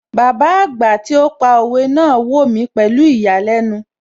Bàbá àgbà tí ó pa òwe náà wò mí pẹ̀lú ìyàlẹ́nu